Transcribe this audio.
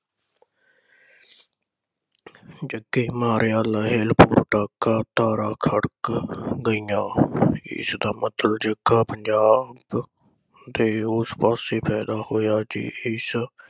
ਜੱਗੇ ਮਾਰਿਆ ਲਾਇਲਪੁਰ ਤੱਕ ਤਲਵਾਰਾਂ ਖੜਕ ਗਈਆ ਇਸ ਦਾ ਮਤਲਬ ਜੱਗਾ ਪੰਜਾਬ ਦੇ ਉਸ ਪਾਸੇ ਪੈਦਾ ਹੋਇਆ ਜਿਸ